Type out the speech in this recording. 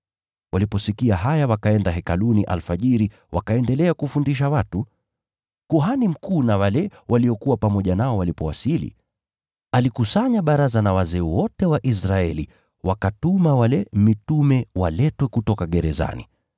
Waliposikia haya wakaenda Hekaluni alfajiri wakaendelea kufundisha watu. Kuhani mkuu na wale waliokuwa pamoja nao walipowasili, alikusanya baraza na wazee wote wa Israeli wakatuma wale mitume waletwe kutoka gerezani.